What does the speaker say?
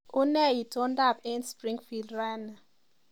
Unee itondoab eng Springfield raini